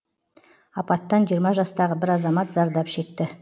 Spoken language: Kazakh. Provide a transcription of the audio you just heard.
апаттан жиырма жастағы бір азамат зардап шекті